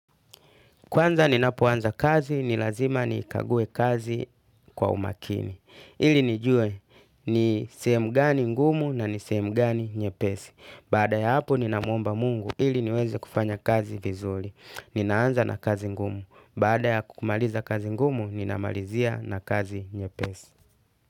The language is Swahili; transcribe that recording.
Kwanza ninapoanza kazi, nilazima nikague kazi kwa umakini. Ili nijue ni sehemu gani ngumu na ni sehemu gani nyepesi. Bada ya hapo ninamwomba mungu, ili niweze kufanya kazi kizuli. Ninaanza na kazi ngumu. Bada ya kukumaliza kazi ngumu, ninamalizia na kazi nye pesi.